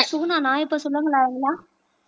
சுகுணா நான் இப்போ சொல்லலாமா